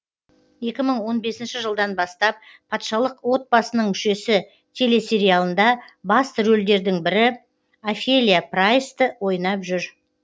екі мың он бесінші жылдан бастап патшалық отбасының мүшесі телесериалында басты рөлдердің бірі офелия прайсті ойнап жүр